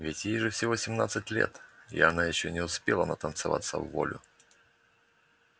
ведь ей же всего семнадцать лет и она ещё не успела натанцеваться вволю